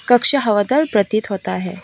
कक्षा हवादार प्रतीत होता है।